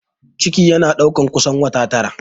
Ciki yana ɗaukar kusan wata tara